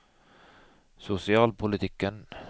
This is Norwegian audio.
sosialpolitikken